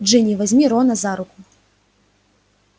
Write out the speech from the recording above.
джинни возьми рона за руку